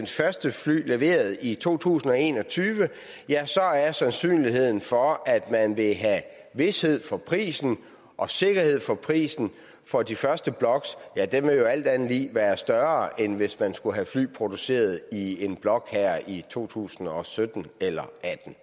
første fly leveret i to tusind og en og tyve ja så er sandsynlighed for at man vil have vished for prisen og sikkerheden for prisen for de første blokke vil alt andet lige være større end hvis man skulle have fly produceret i en blok her i to tusind og sytten eller